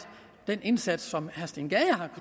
den indsats som herre steen gade har